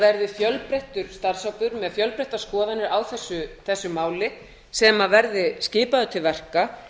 verði fjölbreyttur starfshópur með fjölbreyttar skoðanir á þessu máli sem verði skipaður til verka